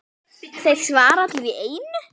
Þeir svara allir í einu.